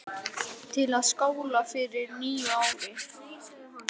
Svona kött hafði hann aldrei séð fyrr.